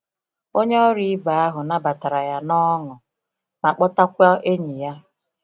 Onye ọrụ ibe ahụ nabatara ya n’ọṅụ ma kpọtakwa enyi ya.